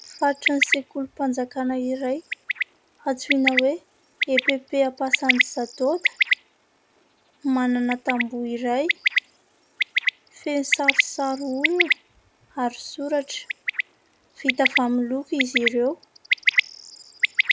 Faritry ny sekoly mpanjakana iray antsoina hoe Epp ampasany satoda. Manana tambo iray feno sarisary olona ary soratra vita avy amin'ny loko izy ireo.